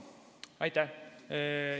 Aitäh!